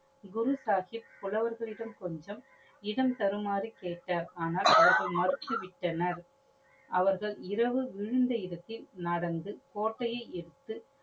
குரு சாஹிப் புலவர்களிடம் கொஞ்சம் இடம் தருமாறு கேட்டார். ஆனால் அவர்கள் மறுத்துவிட்டனர். அவர்கள் இரவு விழுந்த இடத்தில் நடந்து கோட்டையை எதுத்து